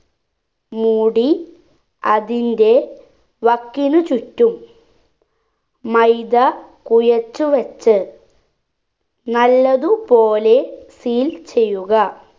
മൂടി അതിന്റെ വക്കിനുചുറ്റും മൈദ കുഴച്ചുവെച്ച് നല്ലതു പോലെ seal ചെയ്യുക